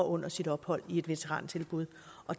under sit ophold i et veterantilbud